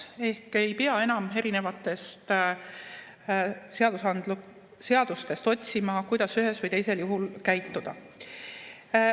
Ehk ei pea enam erinevatest seadustest otsima, kuidas ühel või teisel juhul käituda.